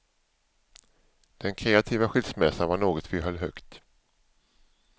Den kreativa skilsmässan var något vi höll högt.